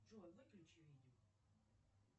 джой выключи видео